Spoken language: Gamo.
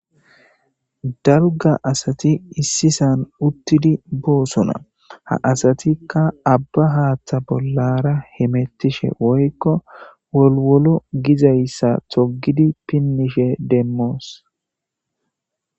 daruga asati issisan uttidi boosona ha asatikka abba haaththa bollara hemettishe woykko wolwolo gizayssa togidi pinnishe demmoos